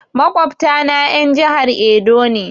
Maƙwabta na en jahar Edo ne